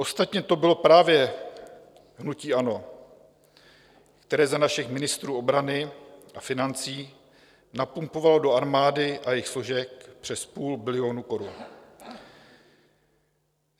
Ostatně to bylo právě hnutí ANO, které za našich ministrů obrany a financí napumpovalo do armády a jejích složek přes půl bilionu korun.